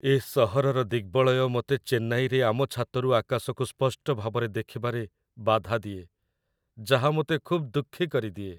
ଏ ସହରର ଦିଗ୍‌ବଳୟ ମୋତେ ଚେନ୍ନାଇରେ ଆମ ଛାତରୁ ଆକାଶକୁ ସ୍ପଷ୍ଟ ଭାବରେ ଦେଖିବାରେ ବାଧା ଦିଏ, ଯାହା ମୋତେ ଖୁବ୍ ଦୁଃଖୀ କରିଦିଏ